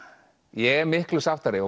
ég er miklu sáttari